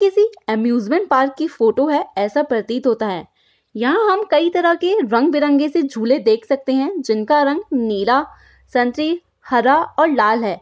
किसी amusement park की photo है ऐसा प्रतीत होता है यहां हम कई तरह के रंग-बिरंगे से झूले देख सकते हैं जिनका रंग नीला संतरी हरा और लाल हैं।